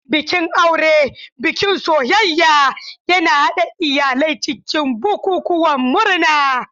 Bikin aure, bikin soyayya, yana haɗa iyalai cikin bukukuwan murna.